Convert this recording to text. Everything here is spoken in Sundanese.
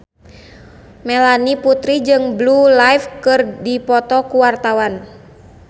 Melanie Putri jeung Blue Ivy keur dipoto ku wartawan